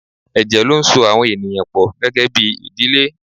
Ẹ̀jẹ̀ ló ń so àwọn ènìyàn pọ gẹ́gẹ́bí ìdílé.